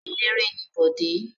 Eléré ni Bọ̀dé.